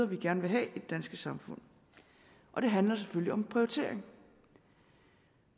vi gerne vil have i det danske samfund og det handler selvfølgelig om prioritering